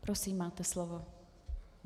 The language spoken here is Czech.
Prosím, máte slovo.